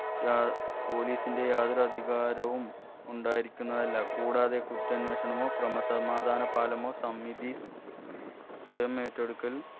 യാ police ന്റെ യാതൊരു അധികാരവും ഉണ്ടായിരിക്കുന്നതല്ല കൂടാതെ കുറ്റാന്വേഷണമോ ക്രമസമാധാന പാലോ സമിതി സ്വയം ഏറ്റെടുക്കൽ